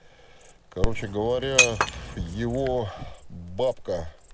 короче говоря его бабка